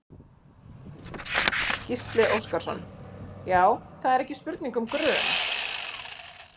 Gísli Óskarsson: Já það er ekki spurning um grun?